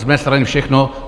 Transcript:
Z mé strany všechno.